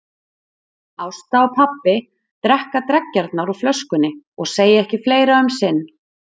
Ásta og pabbi drekka dreggjarnar úr flöskunni og segja ekki fleira um sinn.